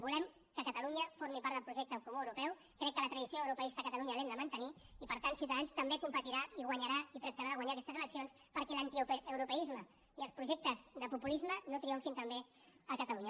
volem que catalunya formi part del projecte comú europeu crec que la tradició europeista de catalunya l’hem de mantenir i per tant ciutadans també competirà i guanyarà i tractarà de guanyar aquestes eleccions perquè l’antieuropeisme i els projectes de populisme no triomfin també a catalunya